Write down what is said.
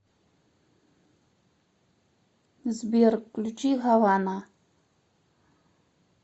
сбер включи хавана